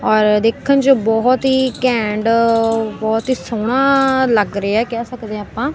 ਔਰ ਦੇਖਣ ਚ ਬਹੁਤ ਹੀ ਘੈਂਡ ਬਹੁਤ ਹੀ ਸੋਹਣਾ ਲੱਗ ਰਿਹਾ ਕਹਿ ਸਕਦੇ ਆ ਆਪਾਂ।